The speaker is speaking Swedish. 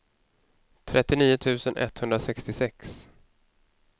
trettionio tusen etthundrasextiosex